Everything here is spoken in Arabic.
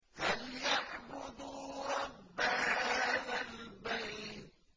فَلْيَعْبُدُوا رَبَّ هَٰذَا الْبَيْتِ